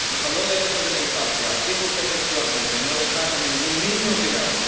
Nos habló de derechos de la infancia, dijo usted textualmente no dejar a ningún niño tirado.